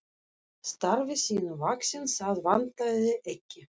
Starfi sínu vaxinn, það vantaði ekki.